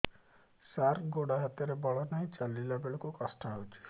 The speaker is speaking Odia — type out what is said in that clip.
ସାର ଗୋଡୋ ହାତରେ ବଳ ନାହିଁ ଚାଲିଲା ବେଳକୁ କଷ୍ଟ ହେଉଛି